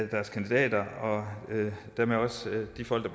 deres kandidater og dermed også de folk